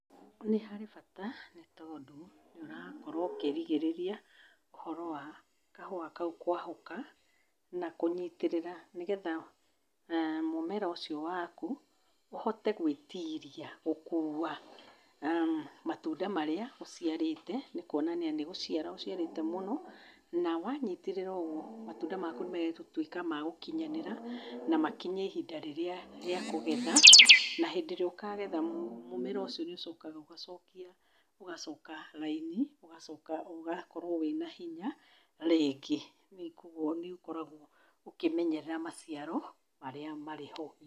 Nĩ harĩ bata, nĩ tondũ ũrakorwo ũkĩrigĩrĩria ũhoro wa kahũa kau kwahũka na kũnyitĩrĩra nĩgetha mũmera ũcio waku ũhote gwĩtiria gũkuua matunda marĩa ũciarĩte. Nĩ kũonania nĩ gũciara ũciarĩte mũno, na wanyitĩrĩra ũguo matunda maku nĩ megũtuĩka magũkinyanĩra, na makinye ihĩnda rĩrĩa rĩa kũgetha. Na hĩndĩ ĩrĩa ũkagetha, mũmera ũcio nĩ ũcokaga ũgacokia ũgacoka raini ũgacoka ũgakorwo wĩna hinya rĩngĩ. Kwoguo nĩ ũkoragwo ũkĩmenyera maciaro marĩa marĩ ho.